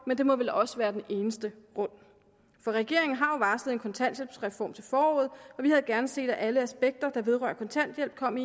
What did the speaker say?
men det må vel også være den eneste grund for regeringen har jo varslet en kontanthjælpsreform til foråret og vi havde gerne set at alle aspekter der vedrører kontanthjælp kom